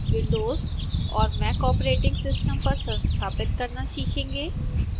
windows और mac operating system पर संस्थापित करना सीखेंगे